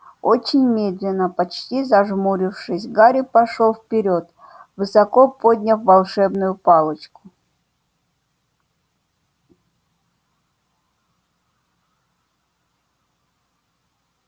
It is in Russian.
очень медленно почти зажмурившись гарри пошёл вперёд высоко подняв волшебную палочку